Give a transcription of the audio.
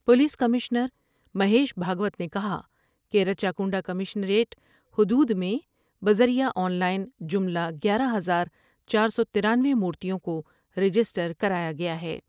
Police commissioner Mahesh Bhagwat نے کہا کہ رچہ کونڈ کمشنریٹ حدود میں بذریعہ آن لائن جملہ گیارہ ہزار چار سو ترانوے مورتیوں کو رجسٹر کرایا گیا ہے ۔